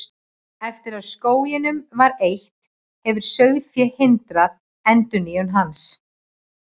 Eftir að skóginum var eytt, hefur sauðfé hindrað endurnýjun hans.